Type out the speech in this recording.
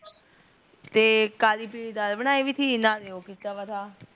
ਤੇ ਕਾਲੀ ਪੀਲੀ ਦਾਲ ਬਣਾਈ ਵੀ ਥੀ ਨਾਲੇ ਓਹ ਕੀਤਾ ਵ ਠ